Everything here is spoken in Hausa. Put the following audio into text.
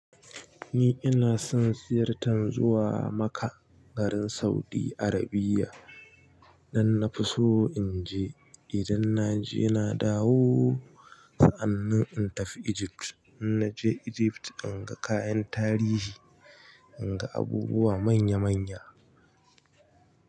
Ni ina son ziyartar zuwa Makka, garin Saudi Arabia. Nan na fi so in je, idan na je na dawo, sa'annan in tafi Egypt. In naje Egypt inga kayan tarihi, in ga abubuwa manya manya.